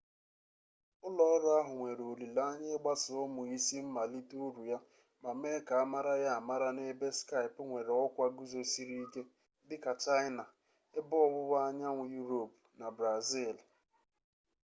ụlọọrụ ahụ nwere olileanya ịgbasa ụmụ isi mmalite uru ya ma mee ka amara ya amara n'ebe skype nwere ọkwa guzosịrị ike dịka chaịna ebe ọwụwa anyanwụ yuropu na brazili